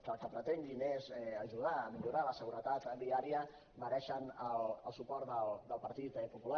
que el que pretenguin és ajudar a millorar la seguretat viària mereixen el suport del partit popular